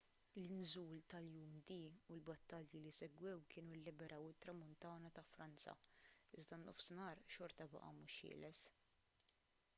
l-inżul tal-jum d u l-battalji li segwew kienu lliberaw it-tramuntana ta' franza iżda n-nofsinhar xorta baqa' mhux ħieles